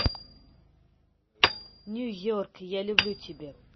нью йорк я люблю тебя